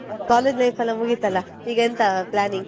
bgSpeach college life ಎಲ್ಲ ಮುಗಿತಲ್ಲಾ? ಈಗ ಎಂತಾ planning ?